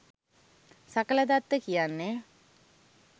සකලදත්ත කියන්නේ